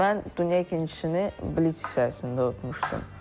Mən dünya ikincisini blitz hissəsində utmuşdum.